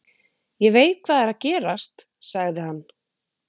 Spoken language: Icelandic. Ég veit hvað er að gerast, sagði hann.